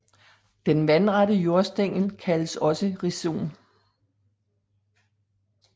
Den vandrette jordstængel kaldes også rhizom